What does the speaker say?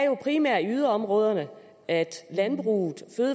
jo primært er i yderområderne at landbruget